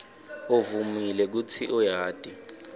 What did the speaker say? uvumile kutsi uyati